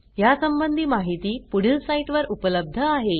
यासंबंधी माहिती पुढील साईटवर उपलब्ध आहे